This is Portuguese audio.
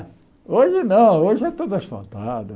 Hoje não, hoje é todo asfaltado.